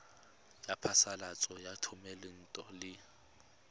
ya phasalatso ya thomelontle le